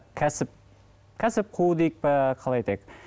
кәсіп кәсіп қуу дейік пе қалай айтайық